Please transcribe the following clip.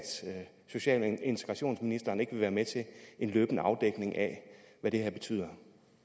social og integrationsministeren ikke vil være med til en løbende afdækning af hvad det her betyder